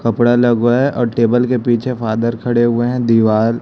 कपड़ा लगा हुआ है और टेबल के पीछे फादर खड़े हुए हैं दीवार--